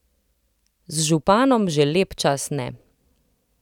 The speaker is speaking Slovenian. Z županom že lep čas ne.